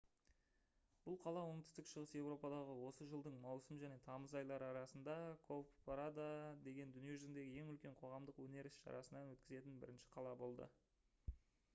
бұл қала оңтүстік шығыс еуропадағы осы жылдың маусым және тамыз айлары арасында «cowparade» деген дүние жүзіндегі ең үлкен қоғамдық өнер іс-шарасын өткізетін бірінші қала болады